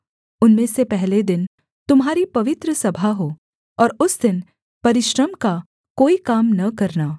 उनमें से पहले दिन तुम्हारी पवित्र सभा हो और उस दिन परिश्रम का कोई काम न करना